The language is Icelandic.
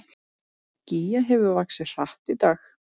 Gígja hefur vaxið hratt í dag